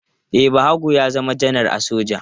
E, Bahago ya zama janar a soja.